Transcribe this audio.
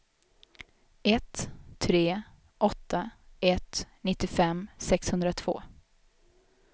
ett tre åtta ett nittiofem sexhundratvå